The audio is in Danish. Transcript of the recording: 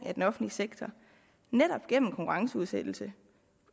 af den offentlige sektor netop gennem konkurrenceudsættelse